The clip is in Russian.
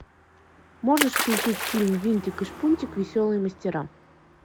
можешь включить фильм винтик и шпунтик веселые мастера